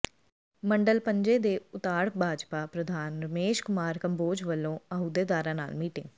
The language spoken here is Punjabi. ਮੰਡਲ ਪੰਜੇ ਕੇ ਉਤਾੜ ਭਾਜਪਾ ਪ੍ਰਧਾਨ ਰਮੇਸ਼ ਕੁਮਾਰ ਕੰਬੋਜ ਵੱਲੋਂ ਅਹੁਦੇਦਾਰਾਂ ਨਾਲ ਮੀਟਿੰਗ